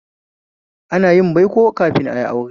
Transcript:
Ana yin baiko kafin ayi aure